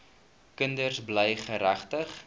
kinders bly geregtig